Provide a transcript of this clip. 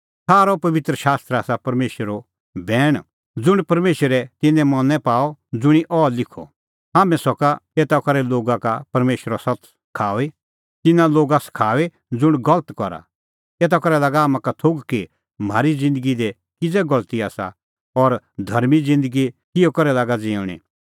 सारअ पबित्र शास्त्र आसा परमेशरो बैण ज़ुंण परमेशरै तिन्नें मनैं पाअ ज़ुंणी अह लिखअ हाम्हैं सका एता करै लोगा का परमेशरो सत्त सखाऊई तिन्नां लोगा सखाऊई ज़ुंण गलत करा एता करै लागा हाम्हां का थोघ कि म्हारी ज़िन्दगी दी किज़ै गलती आसा और धर्मीं ज़िन्दगी किहअ करै लागा ज़िऊंणीं